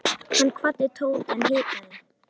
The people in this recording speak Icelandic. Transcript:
Hann kvaddi Tóta en hikaði.